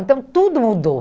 Então, tudo mudou.